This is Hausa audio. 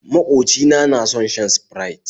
Maƙocina na son shan Sprite